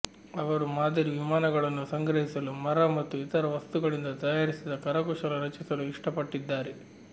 ಅವರು ಮಾದರಿ ವಿಮಾನಗಳನ್ನು ಸಂಗ್ರಹಿಸಲು ಮರ ಮತ್ತು ಇತರ ವಸ್ತುಗಳಿಂದ ತಯಾರಿಸಿದ ಕರಕುಶಲ ರಚಿಸಲು ಇಷ್ಟಪಟ್ಟಿದ್ದಾರೆ